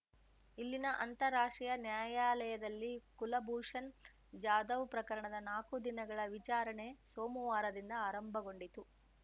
ಇಲ್ಲಿನ ಅಂತಾರಾಷ್ಟ್ರೀಯ ನ್ಯಾಯಾಲಯದಲ್ಲಿ ಕುಲಭೂಷನ್‌ ಜಾಧವ್‌ ಪ್ರಕರಣದ ನಾಕು ದಿನಗಳ ವಿಚಾರಣೆ ಸೋಮುವಾರದಿಂದ ಆರಂಭಗೊಂಡಿತು